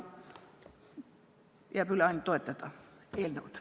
Jääb üle ainult eelnõu toetada.